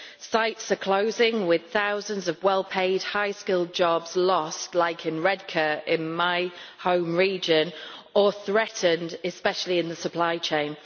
Sites are closing, with thousands of well paid, highly skilled jobs being lost like in Redcar, in my home region or threatened, especially in the supply chain.